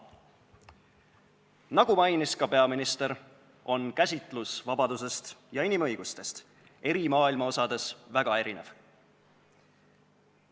Nagu mainis ka peaminister, on käsitlus vabadusest ja inimõigustest maailma eri osades väga erinev.